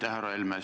Härra Helme!